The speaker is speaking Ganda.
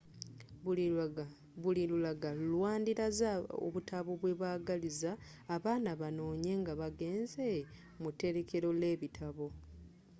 buli lulaga lwandilaze obutabo bwebagaliza abaana banoonye nga bagenze mu terekero lebitabo